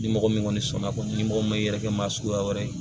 Ni mɔgɔ min kɔni sɔnna kɔni ni mɔgɔ min ma yɛrɛkɛ maa suguya wɛrɛ ye